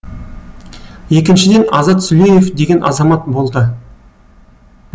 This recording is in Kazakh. екіншіден азат сүлеев деген азамат болды